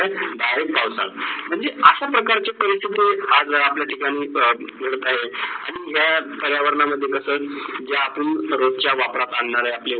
direct पाऊसात. म्हणजे अशे प्रकारचे आज जर आपल्या ठिकाणी जे काही आणी पर्यावरण मध्ये कस ज्यातून सगडचे